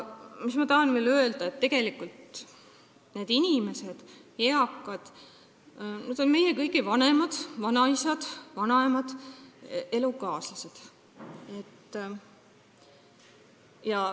Ma tahan veel öelda, et need eakad inimesed on meie kõigi vanemad, vanaisad, vanaemad, elukaaslased.